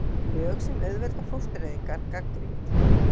Lög sem auðvelda fóstureyðingar gagnrýnd